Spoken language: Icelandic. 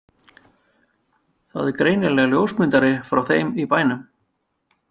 Það er greinilega ljósmyndari frá þeim í bænum.